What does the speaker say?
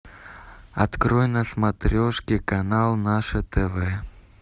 открой на смотрешке канал наше тв